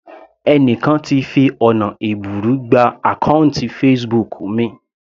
Ẹni kan ti fi ọ̀nà ẹ̀bùrú gba àkọ́ùntì Facebook mi.